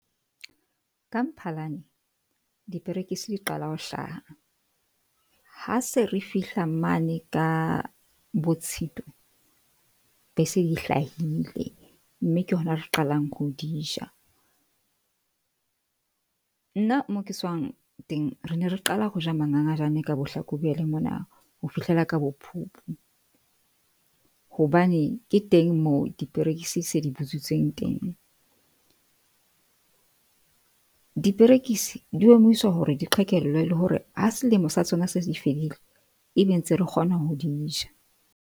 Ka Mphalane diperekisi di qala ho hlaha. Ha se re fihla mane ka bo Tshitwe be se di hlahile mme ke hona re qalang ho di ja. Nna moo ke tswang teng. Re ne re qala ho ja mangangajane ka bo Hlakubele mona ho fihlela ka bo Phupu hobane ke teng moo diperekisi se di butsitseng teng. Diperekisi di omiswa hore di qhekellwe le hore ha selemo sa tsona se se fedile, e be ntse re kgona ho di ja.